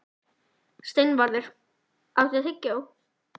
Steinvarður, áttu tyggjó?